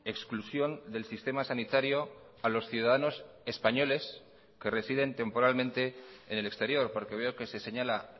exclusión del sistema sanitario a los ciudadanos españoles que residen temporalmente en el exterior porque veo que se señala